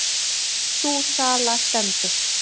Sú sala stendur.